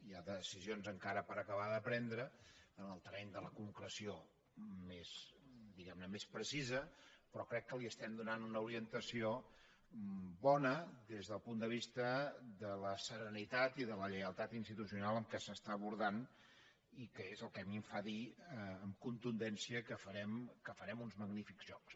hi ha decisions encara per acabar de prendre en el terreny de la concreció més precisa però crec que li estem donant una orientació bona des del punt de vista de la serenitat i de la lleialtat institucional amb què s’està abordant i que és el que a mi em fa dir amb contundència que farem uns magnífics jocs